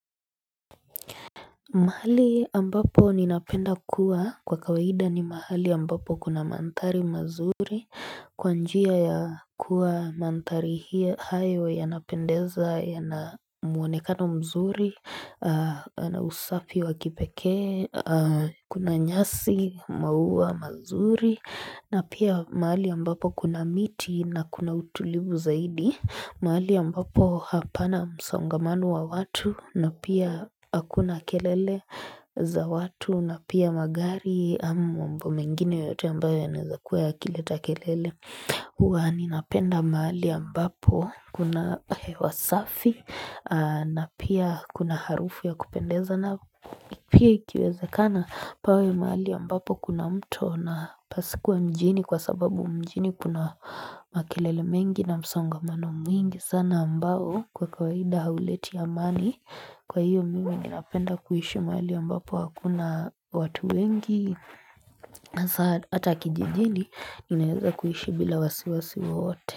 Mahali ambapo ninapenda kuwa kwa kawaida ni mahali ambapo kuna mantari mazuri kwa njia ya kuwa mantari hayo ya napendeza ya na muonekano mzuri na usafi wakipekee Kuna nyasi maua mazuri na pia mahali ambapo kuna miti na kuna utulivu zaidi mahali ya mbapo hapana msongamano wa watu na pia akuna kelele za watu na pia magari ambo mengine yote ambayo ya nazakwea kileta kelele huwa ninapenda maali ya mbapo kuna hewasafi na pia kuna harufu ya kupendeza na pia ikiweze kana pawe mahali ya mbapo kuna mto na pasikuwa mjini Kwa sababu mjini kuna makilele mengi na msongamano mwingi sana ambao kwa kawaida hauleti ya mani Kwa hiyo mimi ninapenda kuhishi mali ambapo hakuna watu wengi Hata kijijini inaiza kuhishi bila wasiwasi waote.